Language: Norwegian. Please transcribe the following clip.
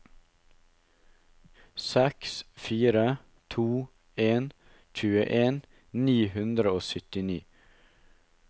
seks fire to en tjueen ni hundre og syttini